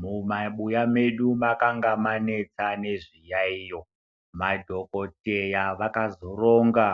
Mumabuya medu makanga manetsa nezviyaiyo. Madhokoteya vakazoronga,